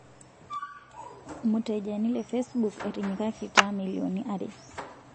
Mutejani le Facebook etinyikakita milioni are.